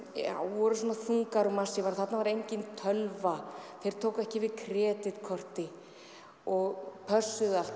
voru svona þungar og massífar og þarna var engin tölva þeir tóku ekki við kreditkorti og pössuðu allt